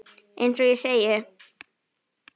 Eins og ég segi.